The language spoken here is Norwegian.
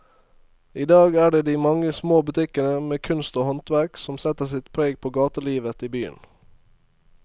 I dag er det de mange små butikkene med kunst og håndverk som setter sitt preg på gatelivet i byen.